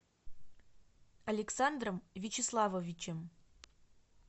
александром вячеславовичем